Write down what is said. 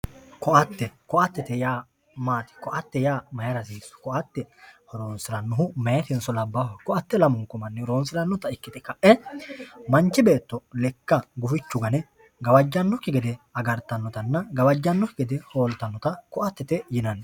Koatte, koatte yaa maati, koatte mayra hasiisu, koatte horonsiranohu mayitenso labbaho, koatte lamunku manni horonsiranotta ikkite kae manchi beetto lekka gufichu gane gawajanokki gede agartanottanna gawajanokki gede holittanotta koattete yinnanni.